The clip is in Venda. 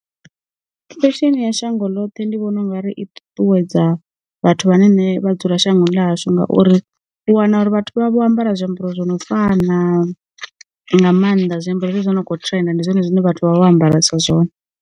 Fesheni ya shango ḽoṱhe ndi vhona ungari i ṱuṱuwedza vhathu vhane vha dzula shango ḽashu ngauri, u wana uri vhathu vha vha vho ambara zwiambaro zwi no fana, nga maanḓa zwiambaro zwi no kho trenda ndi zwone zwine vhathu vha vha vho ambaresa zwone.